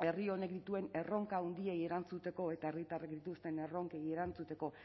herri honek dituen erronka handiei erantzuteko eta herritarrek dituzten erronkei erantzuteko